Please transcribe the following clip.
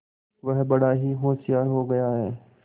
वह बड़ा ही होशियार हो गया है